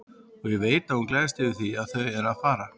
Og ég veit að hún gleðst yfir því að þau eru að fara.